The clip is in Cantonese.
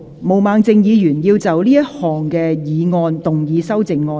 毛孟靜議員要就這項議案動議修正案。